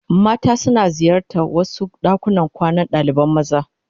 Mata suna ziyartar wasu dakunan kwanan dalibai maza.